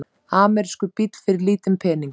Amerískur bíll fyrir lítinn pening?